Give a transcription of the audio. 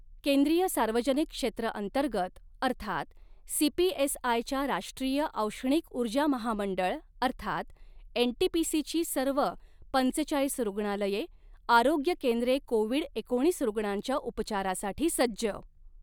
केंद्रीय सार्वजनिक क्षेत्र अंतर्गत अर्थात सी पी एस आय च्या राष्ट्रीय औष्णीक उर्जा महामंडळ अर्थात एन टी पी सी ची सर्व पंचेचाळीस रुग्णालये आरोग्य केंद्रे कोविड एकोणीस रुग्णांच्या उपचारासाठी सज्ज